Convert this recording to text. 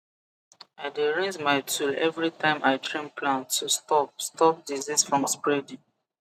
i dey rinse my tool every time i trim plant to stop stop disease from spreading